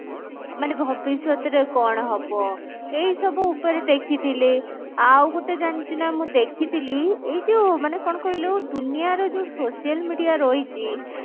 ମାନେ ଭବିଷ୍ୟତ ରେ କଣ ହବ ଏଇ ସବୁ ଉପରେ ଦେଖିଥିଲେ ଆଉ ଗୁଟେ ଜାଣିଛୁ ନା ମୁଁ ଦେଖିଥିଲି ଏଇ ଯଉ ମାନେ କଣ କହିଲୁ ଦୁନିଆ ର ଯଉ social media ରହିଛି